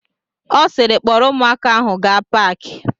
Ọ siiri, kpọrọ ụmụaka ahụ gaa paki!